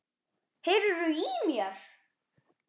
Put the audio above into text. HEYRIR ÞÚ Í MÉR?!